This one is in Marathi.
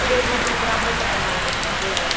पुढे घरचा प्रॉब्लेम होता ना म्हणजे